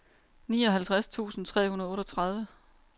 nioghalvtreds tusind tre hundrede og otteogtredive